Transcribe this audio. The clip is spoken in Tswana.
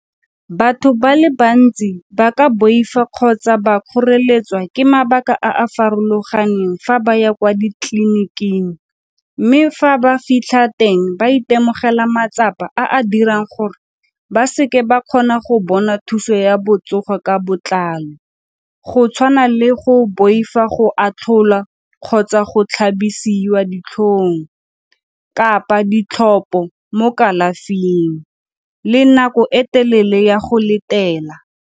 Batho ba le bantsi ba ka boifa kgotsa ba kgoreletswa ke mabaka a a farologaneng fa ba ya kwa ditleliniking mme fa ba fitlha teng ba itemogela matsapa a a dirang gore ba se ke ba kgona go bona thuso ya botsogo ka botlalo go tshwana le go boifa go atlholwa kgotsa go tlhabisiwa ditlhong kapa ditlhopo mo kalafing le nako e telele ya go letela.